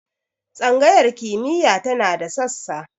Tsangayar kimiyya tana da sassa.